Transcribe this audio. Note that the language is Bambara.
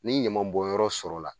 Ni ɲama bɔnyɔrɔ sɔrɔla